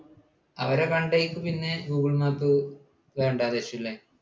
അവരെ കണ്ടിട്ട് പിന്നെ google map വേണ്ട എന്ന് വെച്ചു അല്ലേ?